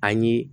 An ye